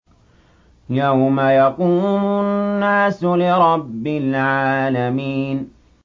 يَوْمَ يَقُومُ النَّاسُ لِرَبِّ الْعَالَمِينَ